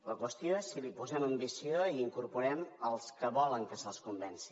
la qüestió és si hi posem ambició i hi incorporem els que volen que se’ls convenci